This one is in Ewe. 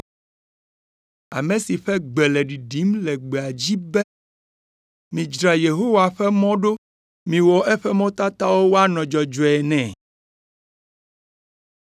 ame si ƒe gbe le ɖiɖim le gbea dzi be, ‘Midzra Yehowa ƒe mɔ ɖo, miwɔ eƒe mɔtatawo woanɔ dzɔdzɔe nɛ.’ ”